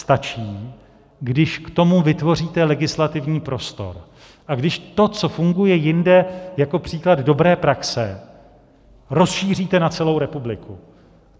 Stačí, když k tomu vytvoříte legislativní prostor a když to, co funguje jinde jako příklad dobré praxe, rozšíříte na celou republiku.